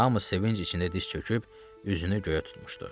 Hamı sevinc içində diz çöküb üzünü göyə tutmuşdu.